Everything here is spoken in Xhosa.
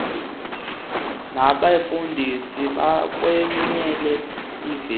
nabefundisi yakweyela ivele